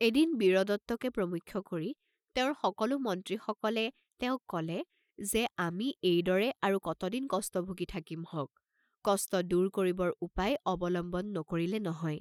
এদিন বীৰদত্তকে প্ৰমুখ্য কৰি তেওঁৰ সকলো মন্ত্ৰীসকলে তেওঁক কলে যে "আমি এই দৰে আৰু কতদিন কষ্ট ভুগি থাকিমহঁক, কষ্ট দূৰ কৰিবৰ উপায় অৱলম্বন নকৰিলে নহয়।